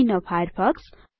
किन फायरफक्स